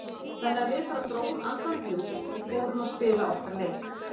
Þannig að við bara drógum andann djúpt og fórum að spila okkar leik.